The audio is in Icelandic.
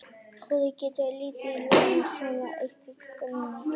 Húðin getur tekið lit ef löngum tíma er eytt fyrir innan glugga í mikilli sól.